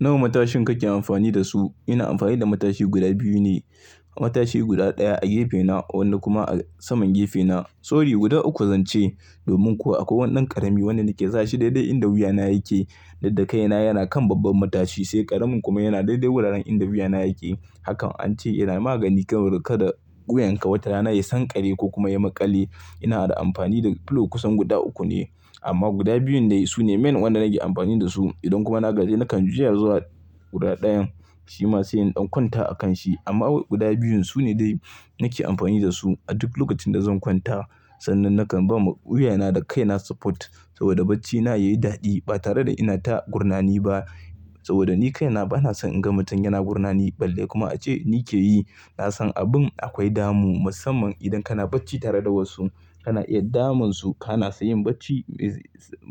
Nawa matashin kake amfani da su? Ina amfani da matashi guda biyu ne. Matashi guda ɗaya a gefena wanda kuma a saman gefena. Sorry guda uku zance. Domin kuwa akwai wannan ƙarami wanda nake sa shi daidai inda wuyana yake, daddakaina yana kan babban matashi sai ƙaramin kuma yana daidai wuraren inda wuyana yake. Hakan an ce yana magani kan riƙe da guyanka watana ya yi sanƙare ko kuma ya yi maƙale. Ina da amfani da pillow kusan guda uku ne amma guda biyun dai su ne main waɗanda nake amfani da su. Idan kuma na gaji nakan juya zuwa guda ɗayan shi ma sai in ɗan kwanta a kan shi. Amma awat guda biyun su ne dai nake amfani da su a duk lokacin da zan kwanta. Sannan nakan ba ma wuyana da kaina support saboda bacina yayi daɗi ba tare da ina ta gurnani ba. Saboda ni kaina bana son in ga mutum yana gurnani balle kuma ace ni ke yi. Na san abin akwai damu musamman idan kana bacci tare da wasu, kana iya damun su kana sai yin bacci,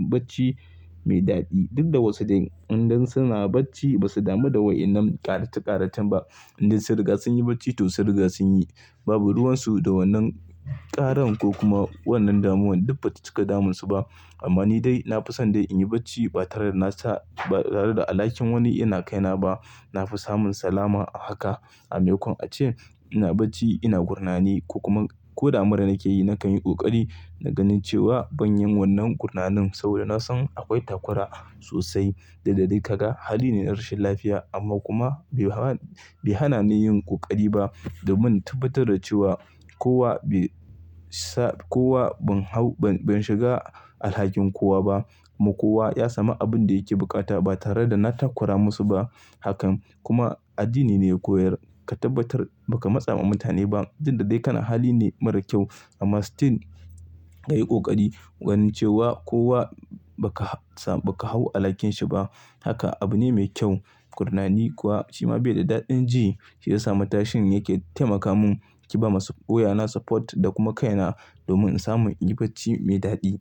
bacci mai daɗi. Duk da wasu dai inda suna bacci ba su damu da wa'innan ƙaratakaratun ba. Inda sun riga sun yi bacci to sun riga sun yi. Babu ruwan su da wannan ƙaran ko kuma wannan damuwan duk fatcika damun su ba. Amma ni dai na fi son dai in yi bacci ba tare da na sa ba tare da alhakin wani yana kaina ba. Na fi samun salama a haka. A maimakon ace ina bacci ina gurnani ko kuma ko da mara nake yi nakan yi ƙoƙari na ganin cewa ban yin wannan gurnanin saboda na san akwai takura sosai duk ɗaɗai. Ka ga hali ne na rashin lafiya amma kuma bai hana, bai hana ni yin ƙoƙari ba domin tabbatar da cewa kowa bai sa kowa ban hau ban, ban shiga alhakin kowa ba. Mu kuwa ya sami abin da yake buƙata ba tare da na takura musu ba. Hakan kuma addini ne ya koyar ka tabbatar baka matsa ma mutane ba. Udda dai kana hali ne mara kyau amma still kayi ƙoƙari ganin cewa kowa baka sa baka hau alhakin shi ba. Haka abu ne mai kyau. Gurnani kuwa shi ma bai da daɗin ji shiyasa matashin yake taimaka mun ki ba masu wuyana support da kuma kaina domin in samu in yi bacci mai daɗi.